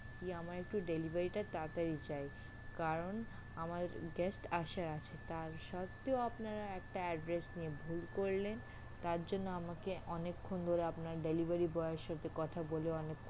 কি আমার একটু delivery টা তাড়া তাড়ি চাই কারণ আমার guest আসার আছে তার সত্ত্বেও আপনারা একটা address নিয়ে ভুল করলেন তার জন্য আমাকে অনেক ক্ষন ধরে আপনার delivery boy এর সাথে কথা বলে অনেক